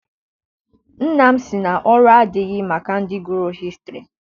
Nna m si na ọrụ adịghị maka ndị gụrụ hịstrị.